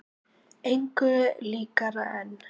Engu líkara en